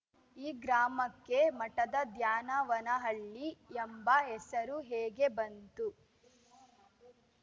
ಈ ಗ್ರಾಮಕ್ಕೆ ಮಠದ ದ್ಯಾನವನಹಳ್ಳಿ ಎಂಬ ಹೆಸರು ಹೇಗೆ ಬಂತು